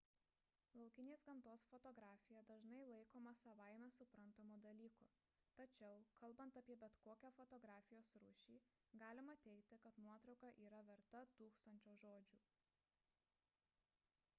laukinės gamtos fotografija dažnai laikoma savaime suprantamu dalyku tačiau kalbant apie bet kokią fotografijos rūšį galima teigti kad nuotrauka yra verta tūkstančio žodžių